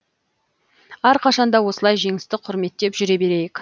әрқашан да осылай жеңісті құрметтеп жүре берейік